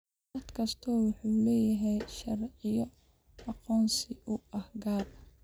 Dal kastaa wuxuu leeyahay sharciyo aqoonsi oo u gaar ah.